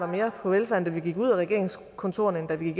mere på velfærd da vi gik ud af regeringskontorerne end da vi